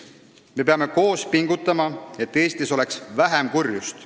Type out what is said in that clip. Me peame koos pingutama, et Eestis oleks vähem kurjust.